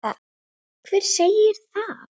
Hver segir það?